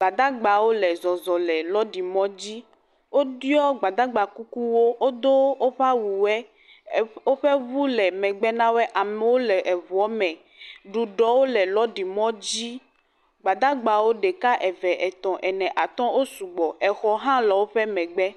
Gbadagbawo le zɔzɔ le lɔɖi mɔdzi. Wodo Gbadagbakukuwo, wodo woƒe awuwoɛ. Eƒ, woƒe ŋu le megbe na woɛ. Amewo le eŋuɔ me. Ɖuɖɔwo le lɔɖi mɔdzi. Gbadagbawo ɖeka, eve, etɔ̃, ne atɔ̃, wo sugbɔ. Exɔwo hã le woƒe megbe.